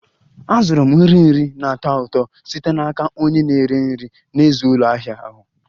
Azụrụ m nri nri na-atọ ụtọ site n'aka onye na-ere nri n'èzí ụlọ ahịa ahụ